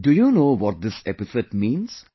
Do you know what this epithet means